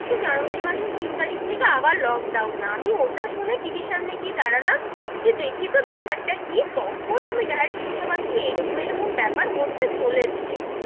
বলছে januaray মাসের তিন তারিক থেকে আবার লোকডাউন, আমি ওটা শুনে TV র সামনে গিয়ে দাঁড়ালাম, কি দেখি তো বেপার টা কি? তখন আমায় direct শুনতে পাচ্ছি যে এরকম এরকম বেপার হতে চলেছে,